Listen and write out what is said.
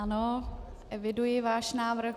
Ano, eviduji váš návrh.